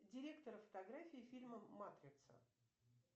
директор фотографии фильма матрица